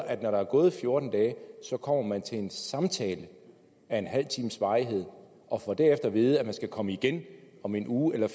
at når der er gået fjorten dage så kommer man til en samtale af en halv times varighed og får derefter at vide at man skal komme igen om en uge eller